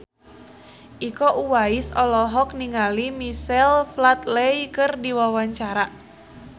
Iko Uwais olohok ningali Michael Flatley keur diwawancara